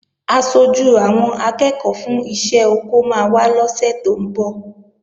Aṣojú àwọn akẹ́ẹ̀kọ́ fún iṣẹ́ oko máa wá lọ́sè tó ń bọ̀